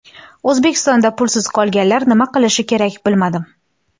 O‘zbekistonda pulsiz qolganlar nima qilishi kerak bilmadim.